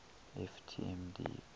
ft m deep